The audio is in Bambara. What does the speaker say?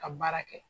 Ka baara kɛ